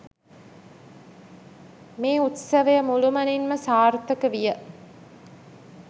මේ උත්සවය මුළුමනින්ම සාර්ථක විය.